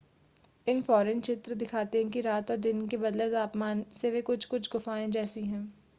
infrared चित्र दिखाते हैं कि रात और दिन के बदले तापमान से वे कुछ-कुछ गुफ़ाएं जैसी हैं